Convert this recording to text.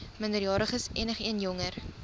minderjariges enigeen jonger